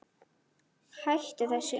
Hættu þessu